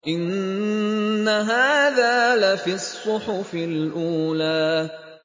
إِنَّ هَٰذَا لَفِي الصُّحُفِ الْأُولَىٰ